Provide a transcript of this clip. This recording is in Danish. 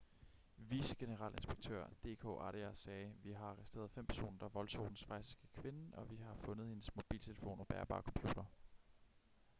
vicegeneralinspektør d k arya sagde vi har arresteret fem personer der voldtog den schweiziske kvinde og vi har fundet hendes mobiltelefon og bærbare computer